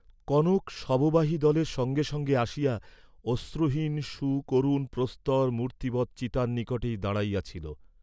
কনক শববাহিদলের সঙ্গে সঙ্গে আসিয়া অশ্রুহীন সুকরুণ প্রস্তর মূর্ত্তিবৎ চিতার নিকটেই দাঁড়াইয়া ছিল।